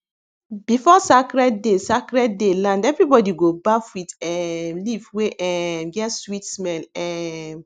before sacred day sacred day land everybody go baff with um leaf wey um get sweet smell um